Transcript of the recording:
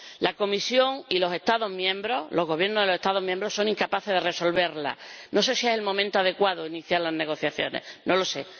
La Comisión y los Estados miembros, los Gobiernos de los Estados miembros, son incapaces de resolverla. No sé si es el momento adecuado para iniciar las negociaciones. No lo sé.